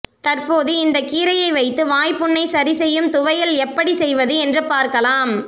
தற்போது இந்த கீரையை வைத்து வாய்ப்புண்ணை சரி செய்யும் துவையல் எப்படி செய்வது என்று பார்க்கலாம்